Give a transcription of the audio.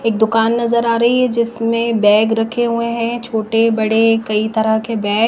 एक दुकान नजर आ रही है जिसमें बैग रखे हुए हैं छोटे बड़े कई तरह के बैग --